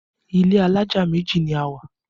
Ilé alájà méjì ni a wà